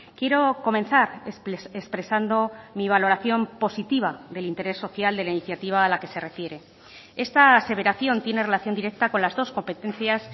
quiero comenzar expresando mi valoración positiva del interés social de la iniciativa a la que se refiere esta aseveración tiene relación directa con las dos competencias